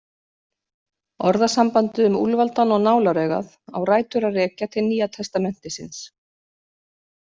Orðasambandið um úlfaldann og nálaraugað á rætur að rekja til Nýja testamentisins.